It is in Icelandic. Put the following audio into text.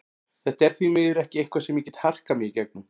Þetta er því miður ekki eitthvað sem ég get harkað mig í gegnum.